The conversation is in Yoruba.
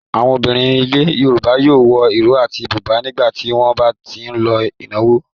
Àwọn obìnrin ilẹ̀ Yorùbá yóò wọ ìró àti bùbá nígbà tí wọ́n bá ń lọ ìnáwó.